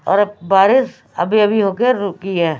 और बारिश अभी अभी हो के रुकी है।